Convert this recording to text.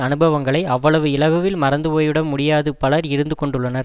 அனுபவங்களை அவ்வளவு இலகுவில் மறந்து போய் விட முடியாத பலர் இருந்து கொண்டுள்ளனர்